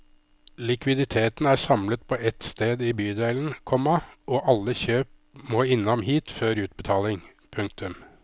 Likviditeten er samlet på ett sted i bydelen, komma og alle kjøp må innom hit før utbetaling. punktum